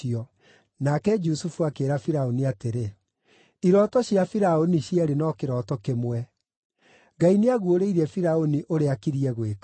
Nake Jusufu akĩĩra Firaũni atĩrĩ, “Irooto cia Firaũni cierĩ no kĩroto kĩmwe. Ngai nĩaguũrĩirie Firaũni ũrĩa akiriĩ gwĩka.